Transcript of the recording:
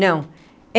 Não.